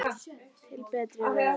Til betri vegar.